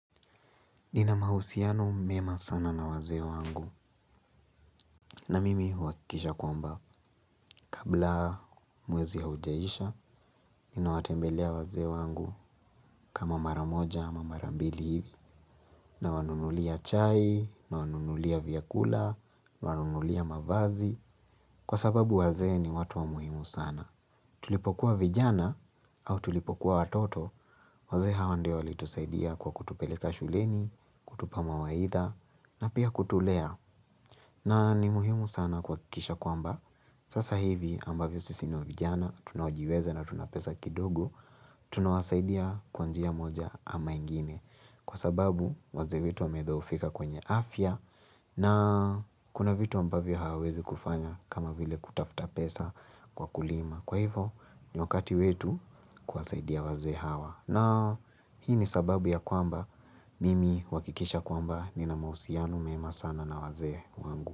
Nina mahusiano mema sana na wazee wangu na mimi huhakikisha kwamba kabla mwezi ya haujaisha, ninawatembelea wazee wangu kama mara moja ama mara mbili hivi nawanunulia chai, nawanunulia vyakula, nawanunulia mavazi kwa sababu wazee ni watu wa muhimu sana. Tulipokuwa vijana au tulipokuwa watoto, wazee hawa ndiyo walitusaidia kwa kutupeleka shuleni, kutupa mawaidha na pia kutulea na ni muhimu sana kuhakikisha kwamba Sasa hivi ambavyo sisi ni wa vijana Tunaojiweza na tuna pesa kidogo Tunawasaidia kwa njia moja ama ingine Kwa sababu wazee wetu wamedhoofika kwenye afya na kuna vitu ambavyo hawawezi kufanya kama vile kutafuta pesa kwa kulima Kwa hivo ni wakati wetu kuwasaidia wazee hawa na hii ni sababu ya kwamba Mimi huhakikisha kwamba nina mahusiano mema sana na wazee wangu.